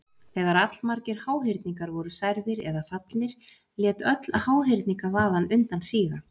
Þegar allmargir háhyrningar voru særðir eða fallnir lét öll háhyrningavaðan undan síga.